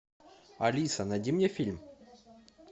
алиса найди мне фильм